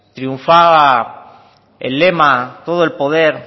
triunfaba el lema todo el poder